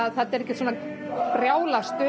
þetta er ekki brjálað stuð